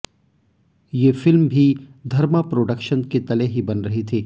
ये फिल्म भी धर्मा प्रोडक्शन के तले ही बन रही थी